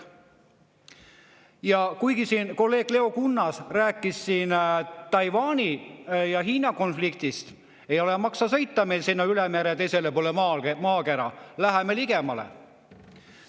Ja kuigi kolleeg Leo Kunnas rääkis siin Taiwani ja Hiina konfliktist, ei maksa meil sõita sinna üle mere, teisele poole maakera, läheme ligemale.